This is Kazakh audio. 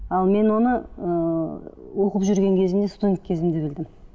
ал мен оны ыыы оқып жүрген кезімде студент кезімде білдім